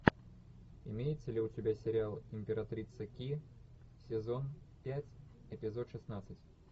имеется ли у тебя сериал императрица ки сезон пять эпизод шестнадцать